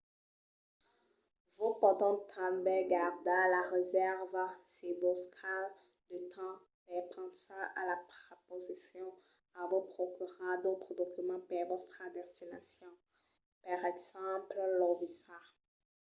vos pòdon tanben gardar la resèrva se vos cal de temps per pensar a la proposicion o vos procurar d’autres documents per vòstra destination per exemple lo visat